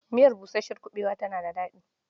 Miyar busasshen kuɓewa tana da daɗi.